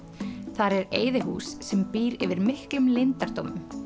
þar er sem býr yfir miklum leyndardómum